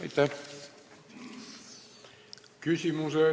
Aitäh!